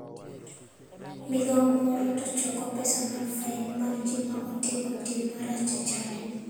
Migao moro to choko pesa mar fain mar ji ma otimo tim marach e chadi.